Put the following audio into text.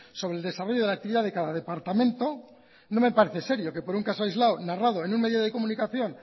sobre el desarrollo de la actividad de cada departamento no me parece serio que por un caso aislado narrado en un medio de comunicación